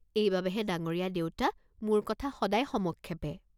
এইবাবেহে ডাঙৰীয়া দেউতা, মোৰ কথা সদায় সমক্ষেপে।